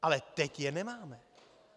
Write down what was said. Ale teď je nemáme.